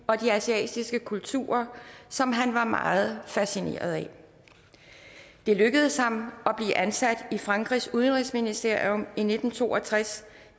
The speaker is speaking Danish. og de asiatiske kulturer som han var meget fascineret af det lykkedes ham at blive ansat i frankrigs udenrigsministerium i nitten to og tres